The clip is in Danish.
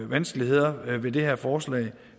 vanskeligheder ved det her forslag